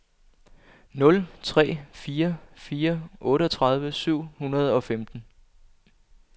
nul tre fire fire otteogtredive syv hundrede og femten